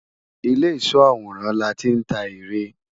Ìlé ìsó àwòrán láti ń ta ère